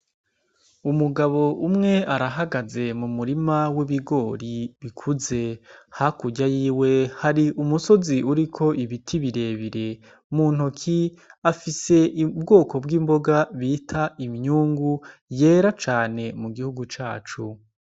Umugabo umwe arahagaze mu murima w'ibigori bikuze ha kurya yiwe hari umusozi uriko ibiti birebire mu ntoki afise ibwoko bw'imboga bita iminyungu yera cane mu gihugu cacu.